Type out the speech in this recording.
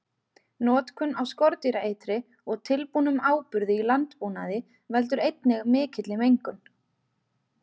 Notkun á skordýraeitri og tilbúnum áburði í landbúnaði veldur einnig mikilli mengun.